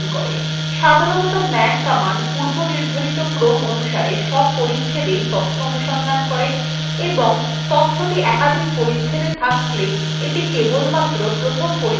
সাধারনতঃ man command পূর্বনির্ধারিত ক্রমঅনুসারে সব পরিচ্ছেদএই অনুসন্ধান করে এবং তথ্যটি একাধিক পরিচ্ছেদa থাকলে the কেবলমাত্র প্রথম পরিচ্ছেদএর তথ্যটিis দেখায়